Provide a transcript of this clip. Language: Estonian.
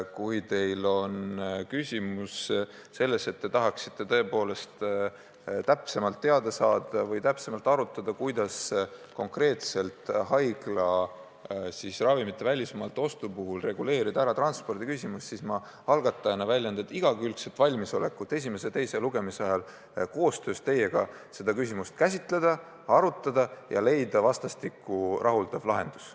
Kui aga küsimus on selles, et te tahaksite tõepoolest täpsemalt teada saada või täpsemalt arutleda, kuidas konkreetselt haiglaravimite välismaalt ostu puhul võiks reguleerida transpordiküsimust, siis ma algatajana väljendan igakülgset valmisolekut esimese ja teise lugemise vahel koostöös teiega seda küsimust arutada ja leida vastastikku rahuldav lahendus.